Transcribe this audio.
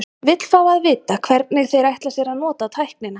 Vill fá að vita, hvernig þeir ætla sér að nota tæknina.